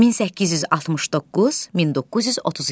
1869-1932.